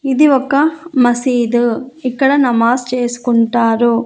ఇది ఒక మసీదు ఇక్కడ నమాజ్ చేసుకుంటారు.